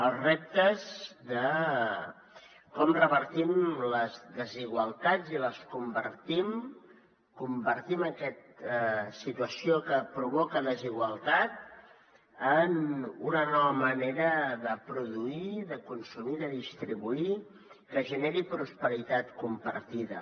els reptes de com revertim les desigualtats i convertim aquesta situació que provoca desigualtat en una nova manera de produir de consumir de distribuir que generi prosperitat compartida